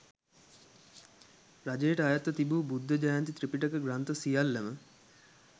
රජයට අයත්ව තිබූ බුද්ධ ජයන්ති ත්‍රිපිටක ග්‍රන්ථ සියල්ලම,